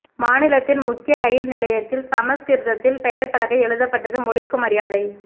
மாநிலத்தின் முக்கிய ரயில் நிலையத்தில் சம்ஸ்கிருதத்தில் பெயர்ப்பலகை எழுதப்பட்டது மொழிக்கு மரியாதை